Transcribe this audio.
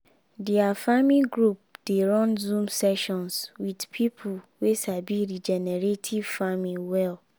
their farming group dey run zoom sessions with people wey sabi regenerative farming well.